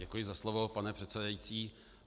Děkuji za slovo, pane předsedající.